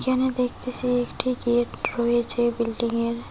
যেন দেখতেসি একটি গেট রয়েছে বিল্ডিংয়ের।